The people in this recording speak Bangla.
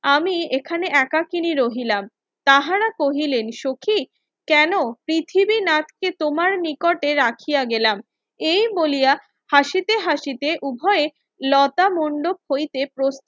আমি এখানে একাকিনী রহিলাম তাহারা কহিলেন সখি কেন পৃথিবী নাককে তোমার নিকটে রাখিয়া গেলাম এই বলিয়া হাসিতে হাসিতে উভয়ে লতা মণ্ডপ হইতে